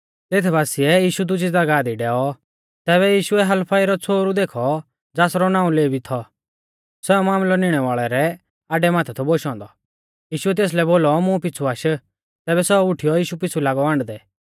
तेत बासिऐ यीशु दुजी ज़ागाह दी डैऔ तैबै यीशुऐ हलफई रौ छ़ोहरु देखौ ज़ासरौ नाऊं लेवी थौ सौ मामलै निणै वाल़ेउ रै आड्डै माथै थौ बोशौ औन्दौ यीशुऐ तेसलै बोलौ मुं पिछ़ु आश तैबै सौ उठीयौ यीशु पीछ़ु लागौ आण्डदै